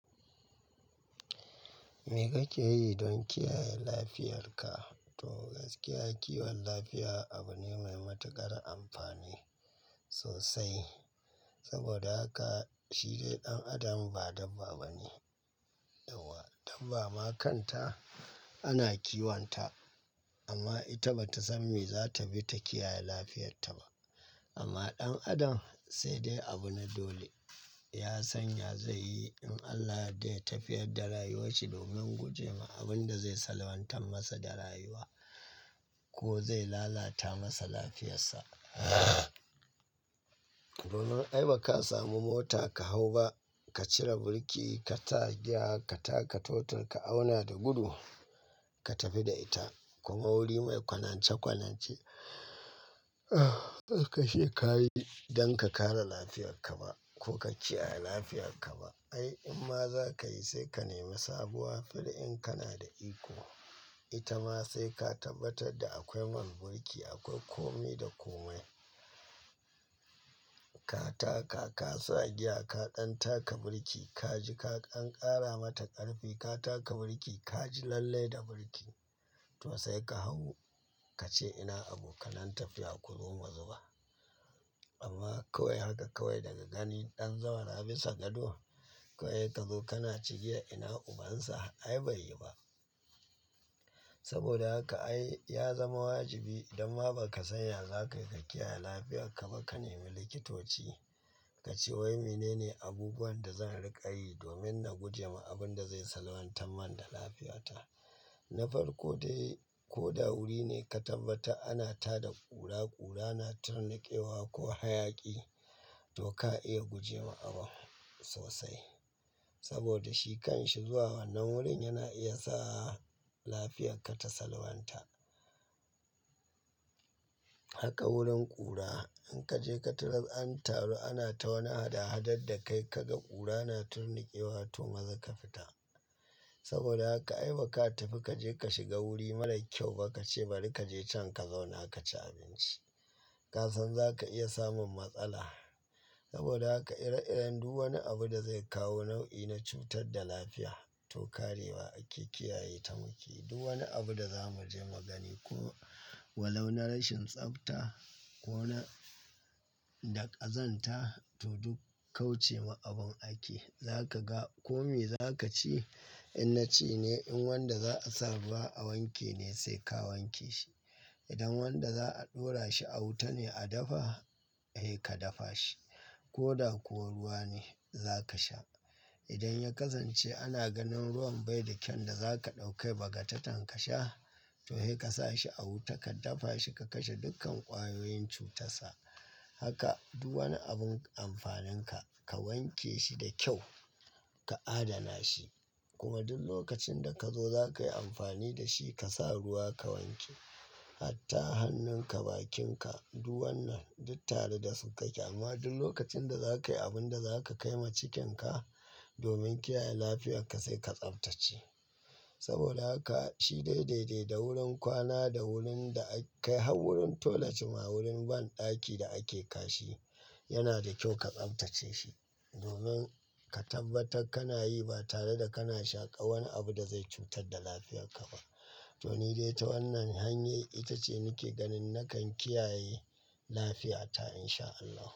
Me kake yi don kiyaye lafiyarka? To gaskiya kiwon lafiya abu ne mai matuƙar amfani sosai. Saboda haka shi dai ɗan adam ba dabba bane. Dabba ma kanta ana kiwonta amma ita bata san me zata bi ta kiyaye lafiyarta ba. Amma ɗan adam sai dai abu na dole. Ya sanya zai yi in Allah yadda ya tafiyar da rayuwar shi domin gujewa abin da zai salwantar masa da rayuwa ko zai lalata masa lafiyarsa. Domin ai baka samu mota ka hau ba, ka cire burki, ka sa giya, ka taka totur, ka auna da gudu, ka tafi da ita. Kuma wuri mai kwanance kwanance. Kar ka ce kayi don ka kare lafiyarka ba ko ka kiyaye lafiyarka ba. Ai in ma zakayi sai ka nemi sabuwa fil da in kana da iko. Ita ma sai ka tabbatar da akwai man burki, akwai komi da komai. Ka taka, ka sa giya, ka ɗan taka burki, ka ji ka an ƙara mata ƙarfi, ka taka burki, ka ji lallai da burki. To sai ka hau ka ce ina abokananta fiya ku zo mu zuba. Amma kawai haka kawai daga gani ɗan zawara bisa gado. Kawai ka zo kana cewa ina ubansa. Ai bai yi ba. Saboda haka ai ya zama wajibi idan ma baka sanya zakayi ka kiyaye lafiyarka ba ka nemi likitoci. Ka ce wai mene ne abubuwan da zan riƙa yi domin na gujewa abun da zai salwantar man da lafiyata. Na farko dai, ko da wuri ne ka tabbata ana tada ƙura ƙura na turnaƙewa ko hayaƙi to ka iya gujewa abun sosai. Saboda shi kan shi zuwa wannan wurin yana iya sa lafiyarka ta salwanta. Haka wurin ƙura, in ka je ka tarar an taru ana ta wani hada hadar da kai ka ga ƙura na turnaƙewa to maza ka fita. Saboda haka ai baka tafi ka je ka shiga wuri marar kyau ba ka ce bari kaje can ka zauna ka ci abinci. Kasan zaka iya samun matsala. Saboda haka ire-iren duk wani abu da zai kawo nau'i na cutar da lafiya to karewa ake kiyaye ta muke. Duk wani abu da zamu je magani ko walau na rashin tsafta ko na da ƙazanta to duk kauce ma abun ake. Zaka ga kome zakaci in naci ne in wanda za'a sa ruwa a wanke ne sai ka wanke shi. Idan wanda za'a ɗora shi a wuta ne a dafa, eh ka dafa shi. Ko da kuwa ruwa ne zaka sha. Idan ya ƙazance ana ganin ruwan bai da kyan da zaka ɗauka baga tatan ka sha to hei ka sa shi a wuta ka dafa shi ka kashe dukkan ƙwayoyin cutarsa. Haka duk wani abun amfanin ka, ka wanke shi da kyau, ka adana shi. Kuma duk lokacin da kazo zakayi amfani da shi ka sa ruwa ka wanke. Hatta hannunka bakinka duk wannan duk tare da su ka ke amma duk lokacin da zakayi abun da zaka kai ma cikinka domin kiyaye lafiyarka sai ka tsaftace. Saboda haka shi dai dai dai da wurin kwana da wurin da a kai har wurin tolace ma wurin banɗaki da ake kashi yana da kyau ka tsaftace shi. Domin ka tabbatar kana yi ba tare da kana shaƙa wani abu da zai cutar da lafiyarka ba. To ni dai ta wannan hanyar ita ce nake ganin nakan kiyaye lafiyata in sha Allah.